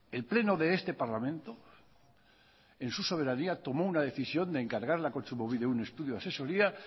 el pleno de este parlamento en su soberanía tomó una decisión de encargarle a kontsumobide un estudio de asesoría